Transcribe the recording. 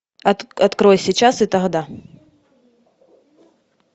открой сейчас и тогда